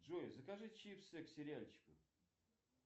джой закажи чипсы к сериальчику